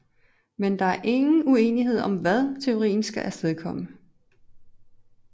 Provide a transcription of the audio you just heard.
Men der er ingen uenighed om hvad teorien skal astedkomme